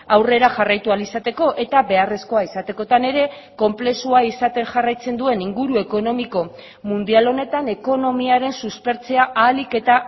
aurrera jarraitu ahal izateko eta beharrezkoa izatekotan ere konplexua izaten jarraitzen duen inguru ekonomiko mundial honetan ekonomiaren suspertzea ahalik eta